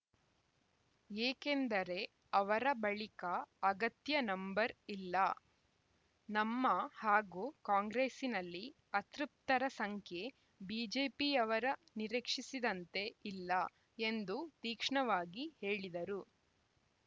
ಏಕೆಂದರೆ ಅವರ ಬಳಿಕ ಅಗತ್ಯ ನಂಬರ್‌ ಇಲ್ಲ ನಮ್ಮ ಹಾಗೂ ಕಾಂಗ್ರೆಸ್‌ನಲ್ಲಿ ಅತೃಪ್ತರ ಸಂಖ್ಯೆ ಬಿಜೆಪಿಯವರ ನಿರೀಕ್ಷಿಸಿದಂತೆ ಇಲ್ಲ ಎಂದು ತೀಕ್ಷ್ಣವಾಗಿ ಹೇಳಿದರು